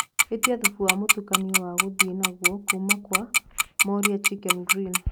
ĩtĩa thubu wa mutukanio wa guthie naguo kuuma kwa moriah chicken grill